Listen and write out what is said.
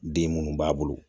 Den munnu b'a bolo